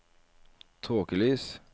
tåkelys